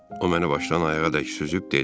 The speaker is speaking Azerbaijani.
O məni başdan ayağa dək süzüb dedi: